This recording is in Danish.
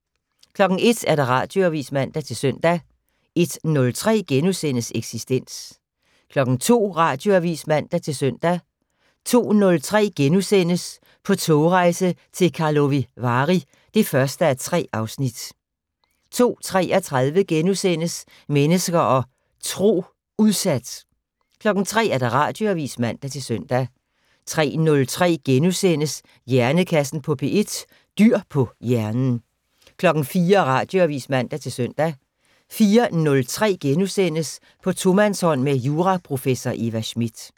01:00: Radioavis (man-søn) 01:03: Eksistens * 02:00: Radioavis (man-søn) 02:03: På togrejse til Karlovy Vary (1:3)* 02:33: Mennesker og Tro: Udsat * 03:00: Radioavis (man-søn) 03:03: Hjernekassen på P1: Dyr på hjernen * 04:00: Radioavis (man-søn) 04:03: På tomandshånd med juraprofessor Eva Smith *